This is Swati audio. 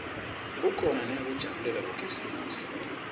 kukhona neyekujabulela bokhisimusi